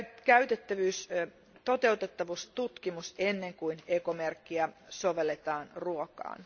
käytettävyys ja toteutettavuustutkimus ennen kuin ekomerkkiä sovelletaan ruokaan.